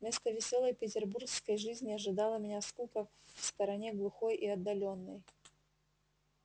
вместо весёлой петербургской жизни ожидала меня скука в стороне глухой и отдалённой